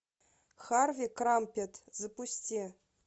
харви крампет запусти